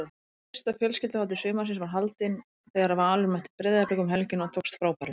Fyrsta fjölskylduhátíð sumarsins var haldin þegar Valur mætti Breiðablik um helgina og tókst frábærlega.